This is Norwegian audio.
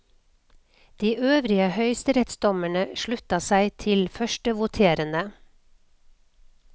De øvrige høyesterettsdommere slutta seg til førstevoterende.